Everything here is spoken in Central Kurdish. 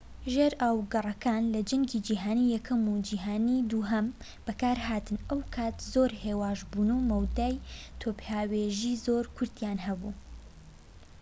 ژێرئاوگەڕەکان لە جەنگی جیهانی یەکەم و جەنگی جیهانی دووەم بەکارهاتن ئەو کات زۆر هێواش بوون و مەودای تۆپهاوێژی زۆر کورتیان هەبوو